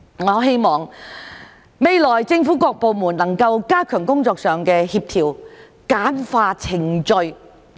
我希望未來政府各部門能夠加強工作上的協調，簡化程序。